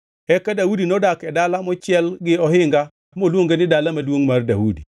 Eka Daudi nodak e dala mochiel gi ohinga moluonge ni Dala Maduongʼ mar Daudi.